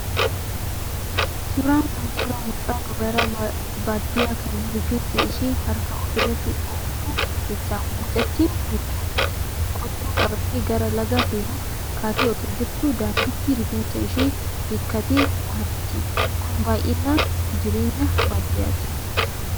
Suuraan kun suuraa mucaa dubaraa baadiyyaa kan rifeensa ishee harkaan ofirratti dhooftu ibsa. Mucattiin kun qottoo qabattee gara lagaa deemuuf kaatee osoo jirtuu daandiitti rifeensa ishee hiikkate dhahatti. Kun baay'inaan jireenya baadiyyaati.